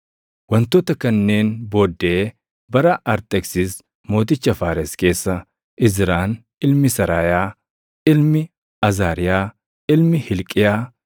Wantoota kanneen booddee bara Arxeksis mooticha Faares keessa Izraan ilmi Seraayaa, ilmi Azaariyaa ilmi Hilqiyaa,